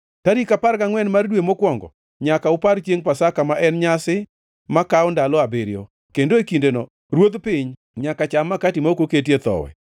“ ‘Tarik apar gangʼwen mar dwe mokwongo, nyaka upar chiengʼ Pasaka, ma en nyasi makawo ndalo abiriyo, kendo e kindeno ruodh piny nyaka cham makati ma ok oketie thowi.